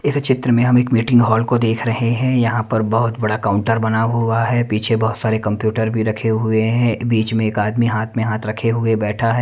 इस चित्र में हम एक मीटिंग हॉल को देख रहे हैं यहां पर बहुत बड़ा काउंटर बना हुआ है पीछे बहुत सारे कंप्यूटर भी रखे हुए हैं बीच में एक आदमी हाथ में हाथ रखे हुए बैठा है।